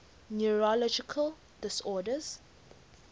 neurological disorders